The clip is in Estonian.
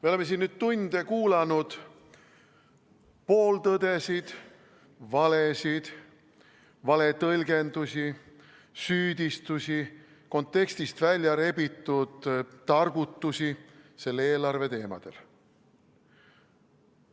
Me oleme siin nüüd tunde kuulanud pooltõdesid, valesid, valetõlgendusi, süüdistusi, kontekstist väljarebitud targutusi eelarve teemadel.